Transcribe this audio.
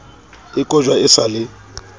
e kojwa e sa le